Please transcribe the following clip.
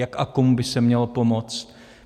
Jak a komu by se mělo pomoct.